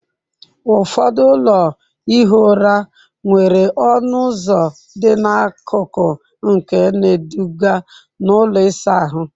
Ụfọdụ ụlọ ihi ụra nwere ọnụ ụzọ dị n'akụkụ nke na-eduga na ụlọ ịsa ahụ.